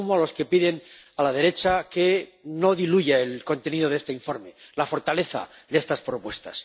Y me sumo a los que piden a la derecha que no diluya el contenido de este informe, la fortaleza de estas propuestas.